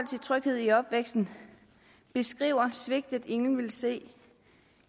til tryghed i opvæksten beskriver svigtet ingen vil se